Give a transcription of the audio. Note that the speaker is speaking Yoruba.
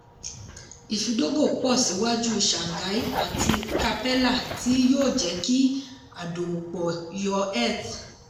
ìfidógo pọ̀ ṣíwájú shanghai àti capella tí yóò jẹ́ kí adòwòpọ̀ yọ eth.